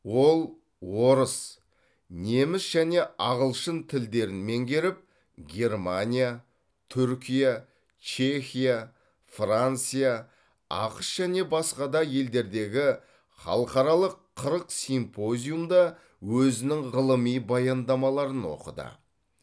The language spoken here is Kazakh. ол орыс неміс және ағылшын тілдерін меңгеріп германия түркия чехия франция ақш және басқа да елдердегі халықаралық қырық симпозиумда өзінің ғылыми баяндамаларын оқыды